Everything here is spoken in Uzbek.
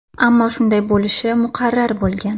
Ammo shunday bo‘lishi muqarrar bo‘lgan.